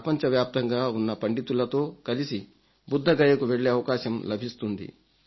ప్రపపంచవ్యాప్తంగా ఉన్న పండితులతో కలిసి బుద్ధగయకు వెళ్లే అవకాశం లభిస్తుంది